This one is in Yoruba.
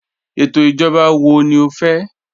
Étò ijọ̀ba wọ̀ ní ọ fẹ́?